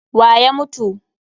Wa ya mutu?